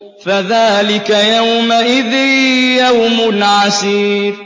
فَذَٰلِكَ يَوْمَئِذٍ يَوْمٌ عَسِيرٌ